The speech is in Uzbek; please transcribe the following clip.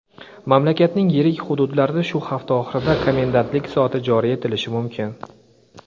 mamlakatning yirik hududlarida shu hafta oxirida komendantlik soati joriy etilishi mumkin.